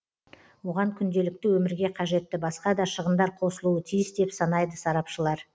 оған күнделікті өмірге қажетті басқа да шығындар қосылуы тиіс деп санайды сарапшылар